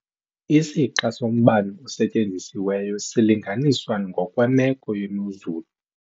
Isixa sombane osetyenzisiweyo silinganiswa ngokwemeko yemozulu.